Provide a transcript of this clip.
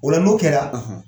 O la n'o kɛla